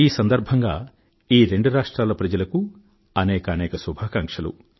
ఈ సందర్భంగా ఈ రెండు రాష్ట్రాల ప్రజలకూ అనేకానేక శుభాకాంక్షలు